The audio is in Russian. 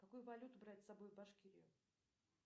какую валюту брать с собой в башкирию